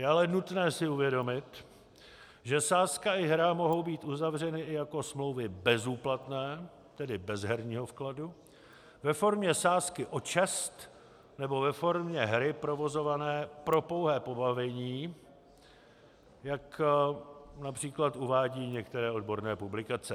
Je ale nutné si uvědomit, že sázka i hra mohou být uzavřeny i jako smlouvy bezúplatné, tedy bez herního vkladu, ve formě sázky o čest nebo ve formě hry provozované pro pouhé pobavení, jak například uvádí některé odborné publikace.